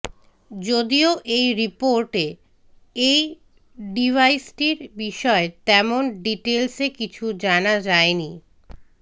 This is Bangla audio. যদিও এই রিপোর্টে এই ডিভাইসটির বিষয়ে তেমন ডিটেলসে কিছু জানা যায়নি